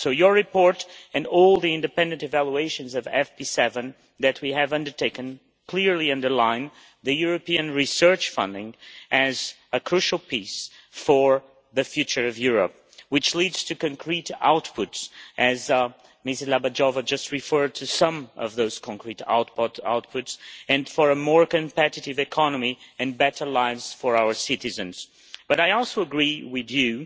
Your report and all the independent evaluations of FP7 that we have undertaken clearly underline that European research funding is a crucial piece for the future of Europe, which leads to concrete outputs Mrs Dlabajová just referred to some of those concrete outputs and for a more competitive economy and better lives for our citizens. But I also agree with you